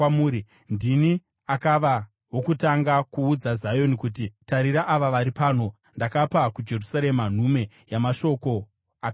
Ndini akava wokutanga kuudza Zioni kuti, ‘Tarira, ava vari pano!’ Ndakapa kuJerusarema nhume yamashoko akanaka.